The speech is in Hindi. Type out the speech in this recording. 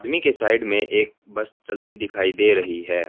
धीमी के साइड मे एक बस चलती दिखाई दे रही है।